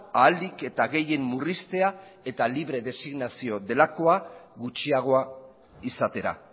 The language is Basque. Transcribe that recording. ahalik eta gehien murriztea eta libre designazioa delakoa gutxiagoa izatera